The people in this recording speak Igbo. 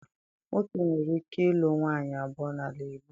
Nwoke nwere ike ịlụ nwaanyị abụọ n'ala Igbo.